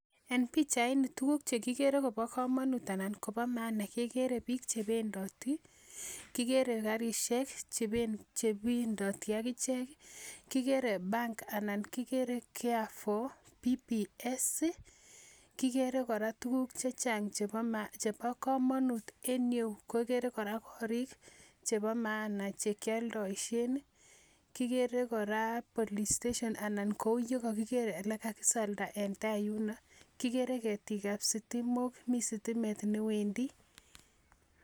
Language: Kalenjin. En bichait Ni ko tuguk chekikere Koba kamanut anan Koba maana kekere bik chebendi kikere karishek chebendati akichek kigerev bank anan kigere care for pps kigere kora tuguk chechang chebo kamanut en iyeyu kegere kora korik Cheba maana chekyaldaishen kigere kora polisteshon olekakisalda yuno kigere ketik ab sitimok mi stimet newendi